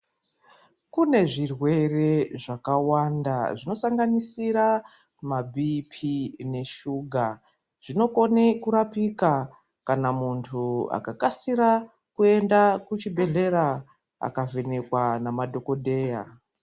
Kune zvirwere zvakawanda zvinosanganisira mabhii-phii neshuga, zvinokone kurapika kana munthu akakasira kuenda kuchibhedhlera akavhenekwa ngemadhokodheya.